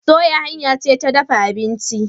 Soya hanya ce ta dafa abinci.